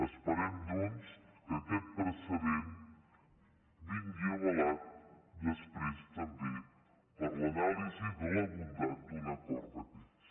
esperem doncs que aquest precedent vingui avalat després també per l’anàlisi de la bondat d’un acord d’aquests